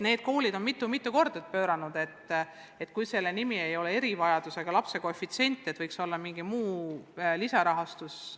Need koolid on mitu-mitu korda teinud ettepaneku, et ilmselt selle abi nimetus ei võiks olla erivajadusega lapse koefitsient, aga võiks olla mingi muu lisarahastuse hoob.